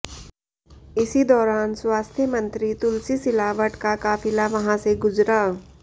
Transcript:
इसी दौरान स्वास्थ्य मंत्री तुलसी सिलावट का काफिला वहां से गुजरा